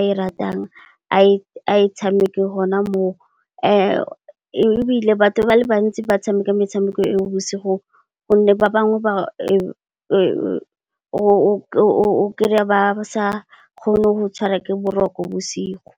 a ratang, a e tshameke gona mo. Ebile, batho ba le bantsi ba tshameka metshameko eo bosigo gonne ba bangwe ba o kry-a ba sa kgone go tshwarwa ke boroko bosigo.